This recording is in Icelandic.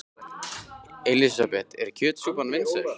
Elísabet: Er kjötsúpan vinsæl?